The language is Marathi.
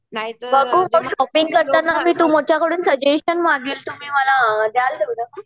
बघू मी शॉपिंग करताना तुमच्या कडून सजेशन मागेल तुम्ही मला द्याल